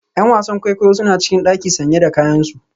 ’Yan wasan kwaikwayo suna cikin daki sanye da kayansu